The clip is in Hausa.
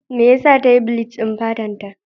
Me yasa ta yi bleach din fatarta?